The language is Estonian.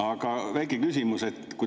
Aga väike küsimus.